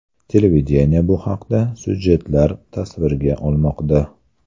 Televideniye bu haqda syujetlar tasvirga olmoqda.